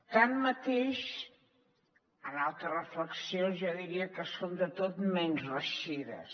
tanmateix altres reflexions jo diria que són de tot menys reeixides